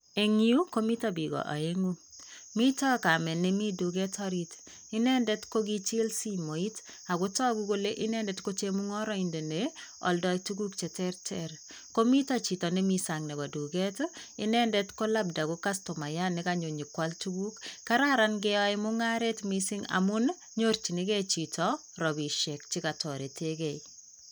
En yu komitoo bik oengu mitoo kamet nemi tuket orit inendet kokijil simoit ak kotoguk kole inendet kochemungoroindet nee oldoi tuguk cheterter komito chito nemi sang nebo tuket ko labda ko kostumayat nekonyo nyokwal tuguk kararan ingeo mungaret mising amun nyorjigee chito rabisiek. chekotoretegei.